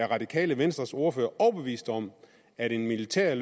radikale venstres ordfører er overbevist om at en militær